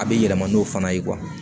A bɛ yɛlɛma n'o fana ye